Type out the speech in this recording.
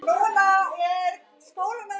Og þannig gufi hann upp?